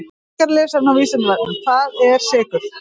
Frekara lesefni á Vísindavefnum: Hvað eru sykrur?